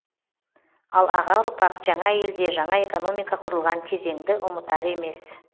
ал аға ұрпақ жаңа елде жаңа экономика құрылған кезеңді ұмытар емес